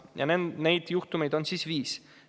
Ja neid juhtumeid on viis.